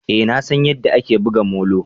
Eh nasan yadda ake buga molo